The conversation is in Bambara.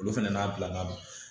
Olu fɛnɛ n'a bilala